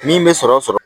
Min bɛ sɔrɔ sɔrɔ